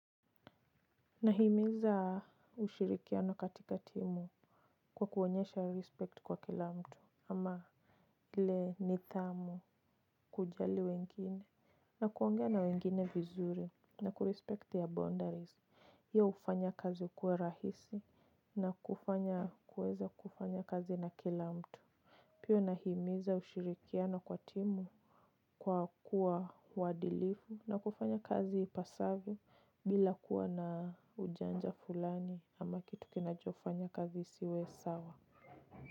Nahimiza ushirikiano katika timu, kwa kuonyesha respect kwa kila mtu ama ile nidhamu. Kujali wengine na kuongea na wengine vizuri na kurespect your boundaries, hiyo hufanya kazi kuwa rahisi na kufanya kuweza kufanya kazi na kila mtu. Pia nahimiza ushirikiano kwa timu, kwa kuwa wadilifu na kufanya kazi ipasavyo. Bila kuwa na ujanja fulani ama kitu kinachofanya kazi isiwe sawa.